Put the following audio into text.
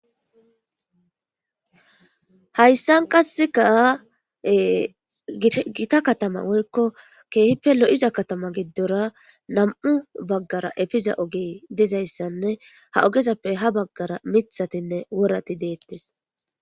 Hayssan qasseka gikka katama woykko keehippe lo'iza katama giddora nam'u baggara efiza ogey dizayssanne ha ogezappe ha baggara mithatinne worati deettes.